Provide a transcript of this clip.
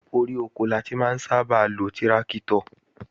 Orí oko la ti máa ń sábà lo tíráktọ̀